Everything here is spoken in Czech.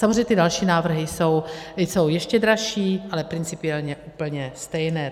Samozřejmě ty další návrhy jsou ještě dražší, ale principiálně úplně stejné.